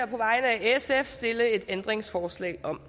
på vegne af sf stille et ændringsforslag om